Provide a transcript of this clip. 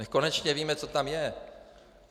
Nechť konečně víme, co tam je!